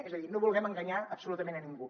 és a dir no vulguem enganyar absolutament a ningú